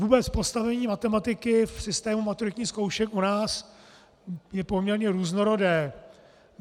Vůbec postavení matematiky v systému maturitních zkoušek u nás je poměrně různorodé.